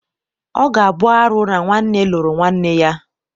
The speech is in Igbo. Ọ ga-abụ arụ na nwanne lụrụ nwanne ya.